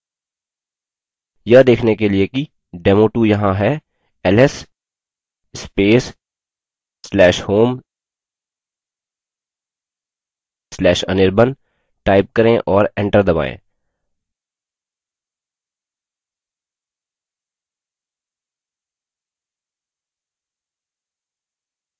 यह देखने के लिए कि demo2 यहाँ है ls space/home/anirban type करें और एंटर दबायें